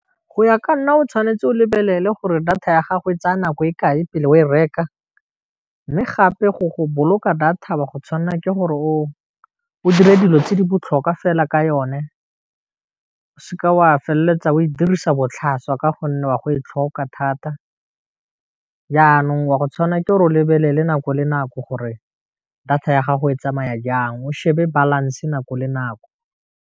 Go ya ka nna o tshwanetse o lebelele gore data ya gago e tsaya nako e kae pele o e reka, mme gape go boloka data wa go tshwanela ke gore o shebe dilo tse di botlhokwa fela ka yone, o se ke wa feleletsa o e dirisa botlhaswa ka gonne wa go e tlhoka thata, jaanong wa go tshwana gore o lebelele nako le nako gore, data ya gago e tsamaya jang o shebe balance nako le nako.